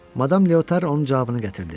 Madam Leotar onun cavabını gətirdi.